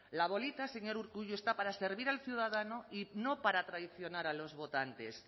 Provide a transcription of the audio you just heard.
la bolita señor urkullu está para servir al ciudadano y no para traicionar a los votantes